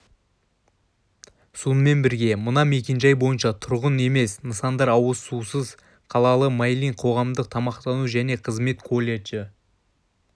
сонымен бірге мына мекенжай бойынша тұрғын емес нысандар ауызсусыз қалады майлин қоғамдық тамақтану және қызмет колледжі